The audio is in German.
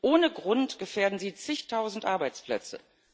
Ohne Grund gefährden Sie zigtausend Arbeitsplätze